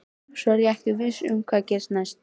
Svo er ég ekki viss um hvað gerist næst.